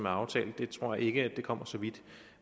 aftalt jeg tror ikke det kommer så vidt